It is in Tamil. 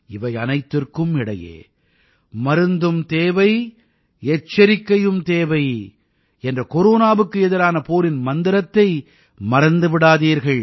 இவையனைத்திற்கும் இடையே மருந்தும் தேவை எச்சரிக்கையும் தேவை என்ற கொரோனாவுக்கு எதிரான போரின் மந்திரத்தை மறந்து விடாதீர்கள்